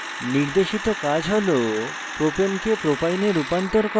নির্দেশিত কাজ হল propane propyne রূপান্তর করা